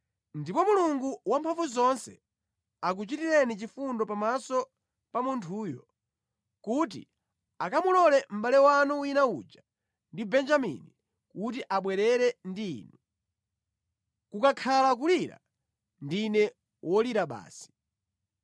Ndipo Mulungu Wamphamvuzonse akuchitireni chifundo pamaso pa munthuyo kuti akamulole mʼbale wanu wina uja ndi Benjamini kuti abwerere ndi inu. Kukakhala kulira, ndine wolira basi.”